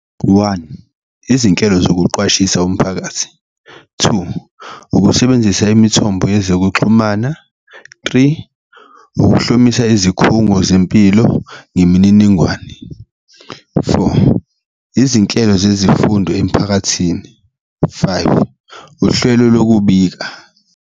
One, izinhlelo zokuqwashisa umphakathi, two, ukusebenzisa imithombo yezokuxhumana, three, ukuhlomisa izikhungo zempilo ngemininingwane, four, izinhlelo zezimfundo emiphakathini, five, uhlwelo lokubika.